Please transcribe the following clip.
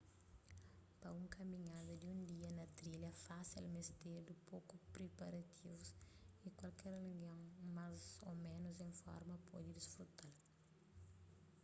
pa un kaminhada di un dia na un trilha fásil mestedu poku priparativus y kualker algen más ô ménus en forma pode disfruta-l